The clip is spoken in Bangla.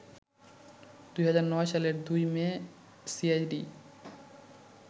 ২০০৯ সালের ২ মে সিআইডি